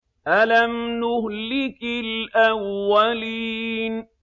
أَلَمْ نُهْلِكِ الْأَوَّلِينَ